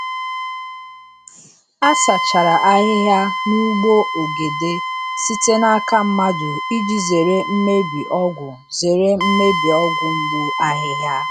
A sachara ahịhịa n’ugbo ogede site n’aka mmadụ iji zere mmebi ọgwụ zere mmebi ọgwụ mgbu ahịhịa.